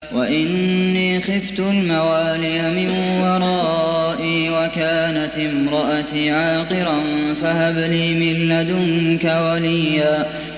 وَإِنِّي خِفْتُ الْمَوَالِيَ مِن وَرَائِي وَكَانَتِ امْرَأَتِي عَاقِرًا فَهَبْ لِي مِن لَّدُنكَ وَلِيًّا